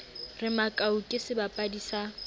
re makau ke sebapadi sa